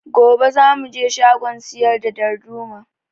Gobe za mu je shagon siyar da darduma